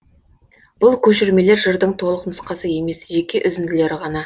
бұл көшірмелер жырдың толық нұсқасы емес жеке үзінділері ғана